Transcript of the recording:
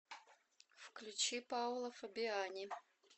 включи паола фабиани